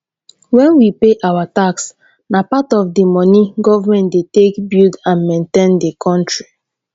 when we pay our tax na part of di money government dey take build and maintain di country